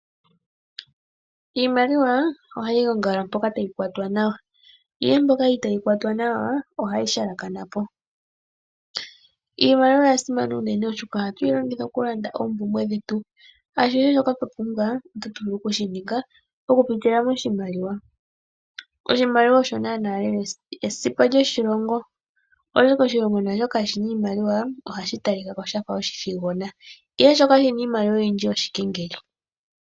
Iimaliwa ohayi gongala mpoka tayi kwatwa nawa, ihe mpoka itaayi kwatwa nawa ohayi halakana po. Iimaliwa oya simana unene oshoka ohatu yi longitha okulanda oompumbwe dhetu. Ashihe shoka twa pumbwa, otatu vulu okushi ninga okupitila moshimaliwa. Oshimaliwa osho naanaa lela esipa lyoshilongo. Oshoka oshilongo kaashi na iimaliwa, ohashi talika ko sha fa oshithigona, ihe shoka shi na iimaliwa oyindji oshikengeli